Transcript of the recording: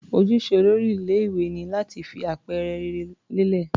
Ojúṣe olórí ilé-ìwé ni láti fi àpẹẹrẹ rere lélẹ̀.